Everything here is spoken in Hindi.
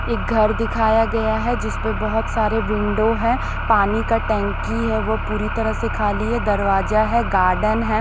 एक घर दिखाया गया है जिस पे बहोत सारे विंडो हैं पानी का टंकी है वो पूरी तरह से खाली है दरवाजा है गार्डन है।